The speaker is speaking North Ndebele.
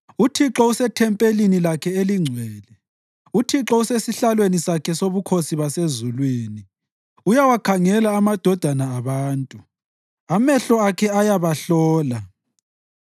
UThixo usethempelini lakhe elingcwele; uThixo usesihlalweni sakhe sobukhosi basezulwini. Uyawakhangela amadodana abantu; amehlo akhe ayabahlola.